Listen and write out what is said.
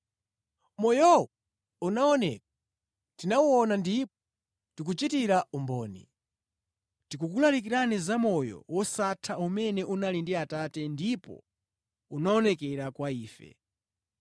Moyowo unaoneka, tinawuona ndipo tikuchitira umboni. Tikukulalikirani za moyo wosatha umene unali ndi Atate ndipo unaonekera kwa ife.